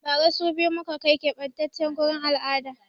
Ba ra so biyu muka kai ziyara ƙebatace gurin al'ada